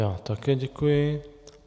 Já také děkuji.